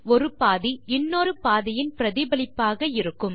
ஒரு பாதி இன்னொரு பாதியின் பிரதிபலிப்பாக இருக்கும்